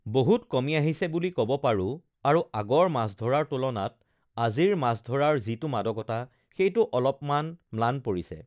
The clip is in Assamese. বহুত কমি আহিছে বুলি ক'ব পাৰোঁ, আৰু আগৰ মাছ ধৰাৰ তুলনাত আজিৰ মাছ ধৰাৰ যিটো মাদকতা সেইটো অলপমান ম্লান পৰিছে